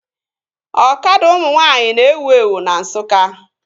Ọkada ụmụ nwaanyị na-ewu ewu na Nsukka